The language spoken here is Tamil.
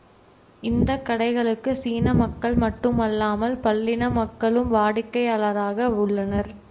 இந்த கடைகளுக்கு சீன மக்கள் மட்டுமல்லாமல் பல்லின மக்களும் வாடிக்கையாளராக உள்ளனர்